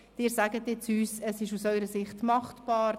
Doch Sie sagen uns jetzt, aus Ihrer Sicht sei es machbar.